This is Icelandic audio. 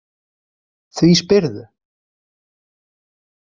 Því spyrðu?